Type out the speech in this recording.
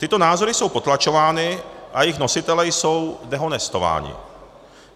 Tyto názory jsou potlačovány a jejich nositelé jsou dehonestováni.